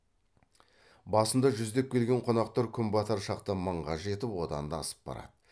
басында жүздеп келген қонақтар күн батар шақта мыңға жетіп одан да асып барады